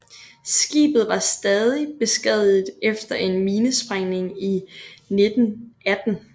Skibet var stadig beskadiget efter en minesprængning i 1918